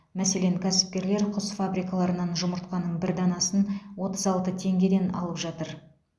мәселен кәсіпкерлер құс фабрикаларынан жұмыртқаның бір данасын отыз алты теңгеден алып жатыр